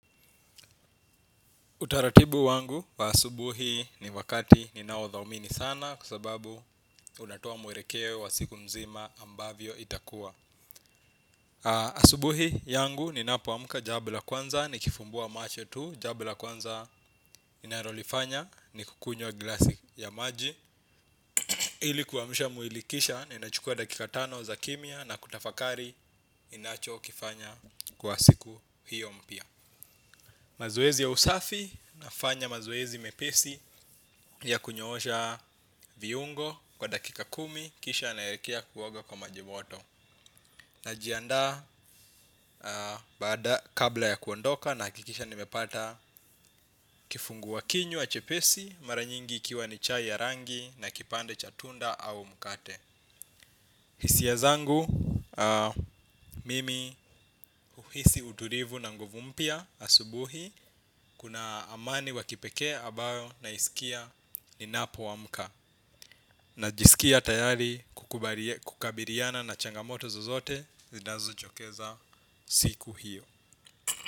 Utaratibu wangu wa asubuhi ni wakati ninaothamini sana kwa sababu unatoa mwelekeo wa siku mzima ambavyo itakua. Asubuhi yangu ni napoamka, jambo la kwanza nikifumbua macho tu. Jambo la kwanza ninalolifanya ni kukunywa glasi ya maji. Ili kuamsha mwili kisha niinachukua dakika tano za kimya na kutafakari ninachokifanya kwa siku hio mpya. Mazoezi ya usafi nafanya mazoezi mepesi ya kunyoosha viungo kwa dakika kumi kisha naelekea kuoga kwa maji moto. Najianda kabla ya kuondoka nakikisha nimepata kifungua kinywa chepesi mara nyingi ikiwa ni chai ya rangi na kipande cha tunda au mkate. Hisia zangu, mimi huhisi utukivu na nguvu mpya asubuhi. Kuna amani wa kipeke ambayo naisikia ninapo amka. Najisikia tayari kukabiliana na changamoto zozote zinazochokeza siku hio.